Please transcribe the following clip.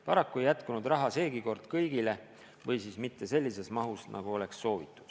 Paraku ei jätkunud raha seegi kord kõigile või siis mitte sellises mahus, nagu sooviti.